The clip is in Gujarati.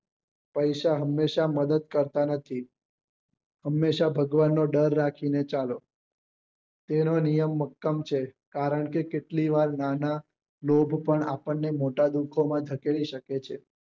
પૈસા હંમેશા મદદ કરતા નથી હંમેશા ભગવાનનો ડર રાખી ને ચાલો તેનો નિયમ મક્કમ છે કારણ કે કેટલીક વાર લોભ પણ આપણને મોટા દુખો માં ધકેલી શકે છે